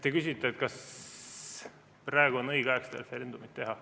Te küsite, kas praegu on õige aeg seda referendumit teha.